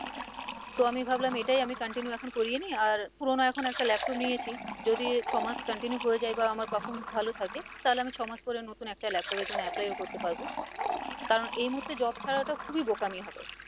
তো আমি ভাবলাম এটাই আমি continue এখন করিয়ে নিই আর পুরোনো এখন একটা laptop নিয়েছি যদি ছমাস continue হয়ে যাই বা আমার performance ভালো থাকে তাহলে আমি ছমাস পরে নতুন একটা laptop এর জন্য apply ও করতে পারবো কারণ এই মুহর্তে job ছাড়াটা খুবই বোকামি হবে